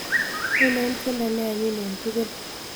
Ainon tyendo ne anyin eng' tugul